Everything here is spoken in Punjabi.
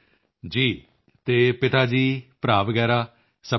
ਜੀ ਅਤੇ ਪਿਤਾ ਜੀ ਭਰਾ ਵਗੈਰਾ ਸਭ ਠੀਕ ਹਨ